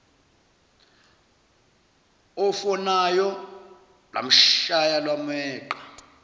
ofonayo lwamshaya lwameqa